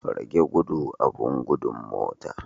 Rage gudu abin gudun motar.